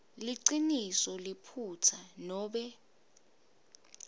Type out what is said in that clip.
liciniso liphutsa nobe